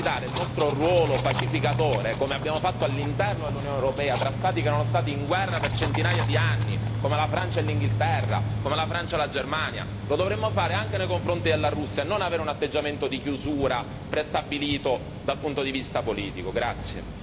Noi dovremmo cercare di esercitare il nostro ruolo pacificatore come abbiamo fatto all'interno dell'Unione europea fra Stati che erano stati in guerra per centinaia di anni, come la Francia e l'Inghilterra, come la Francia e la Germania, lo dovremmo fare anche nei confronti della Russia, non avere un atteggiamento di chiusura prestabilito dal punto di vista politico.